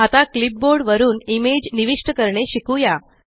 आता क्लिपबोर्ड वरुन इमेज निविष्ट करणे शिकुया